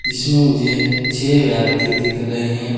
जिसमें मुझे छे व्यक्ति दिख रहे हैं।